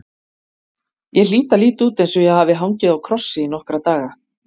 Ég hlýt að líta út eins og ég hafi hangið á krossi í nokkra daga.